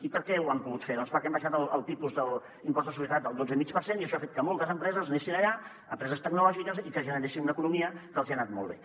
i per què ho han pogut fer doncs perquè han baixat el tipus de l’impost de societats al dotze i mig per cent i això ha fet que moltes empreses anessin allà empreses tecnològiques i que generessin una economia que els hi ha anat molt bé